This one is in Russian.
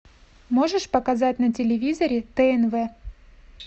можешь показать на телевизоре тнв